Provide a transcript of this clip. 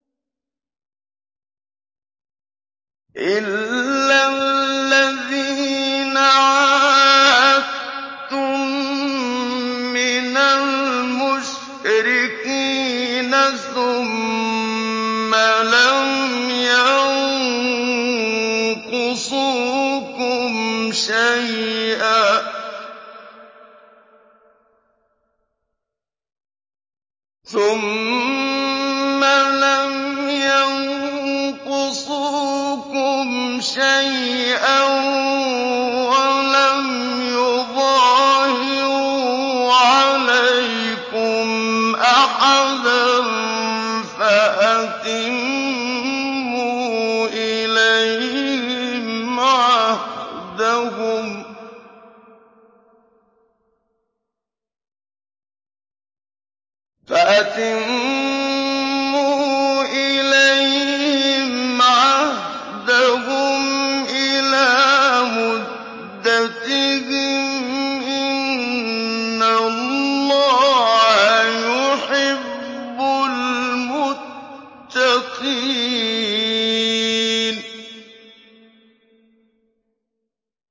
إِلَّا الَّذِينَ عَاهَدتُّم مِّنَ الْمُشْرِكِينَ ثُمَّ لَمْ يَنقُصُوكُمْ شَيْئًا وَلَمْ يُظَاهِرُوا عَلَيْكُمْ أَحَدًا فَأَتِمُّوا إِلَيْهِمْ عَهْدَهُمْ إِلَىٰ مُدَّتِهِمْ ۚ إِنَّ اللَّهَ يُحِبُّ الْمُتَّقِينَ